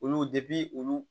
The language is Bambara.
Olu olu